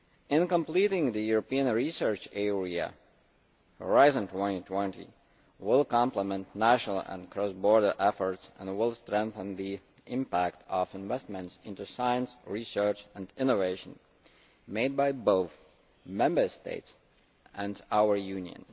In completing the European Research Area, Horizon 2002 will complement national and cross border efforts and will strengthen the impact of investments in science, research and innovation made both by the Member States and by our Union.